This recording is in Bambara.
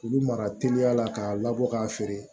K'olu mara teliya la k'a labɔ k'a feere